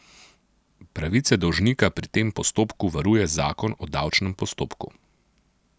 Pravice dolžnika pri tem postopku varuje zakon o davčnem postopku.